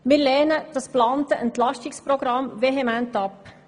Wir lehnen das geplante Entlastungsprogramm vehement ab.